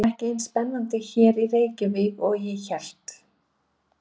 Það er ekki eins spennandi hérna í Reykjavík og ég hélt.